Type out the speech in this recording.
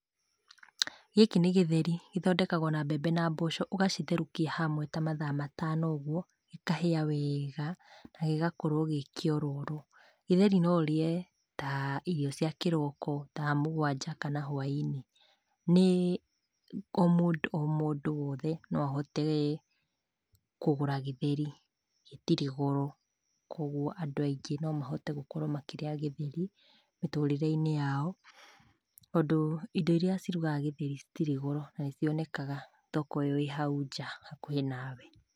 Gĩkĩ nĩ Gĩtheri. Gĩthondekagwo na mbembe na mboco, ũgacitherũkia hamwe ta mathaa matano ũguo, gĩkahia wega, na gĩgakorwo gĩ kĩororo. Gĩtheri no ũrĩe ta irio cia kĩroko, thaa mũgwanja, kana hwainĩ. Nĩ o mũndũ o mũndũ wothe, no ahote kũgũra gĩtheri. Gĩtirĩ goro, kwoguo andũ aingĩ no mahote gũkorwo makĩrĩa gĩtheri mĩtũrĩre-inĩ yao, tondũ indo iria cirugaga gĩtheri citirĩ goro, na nĩcionekaga thoko ĩyo ĩ hau nja hakuhĩ nawe.